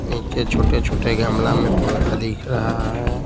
नीचे छोटे-छोटे गमला में पौधा दिख रहा है।